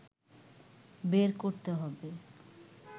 বের করতে হবে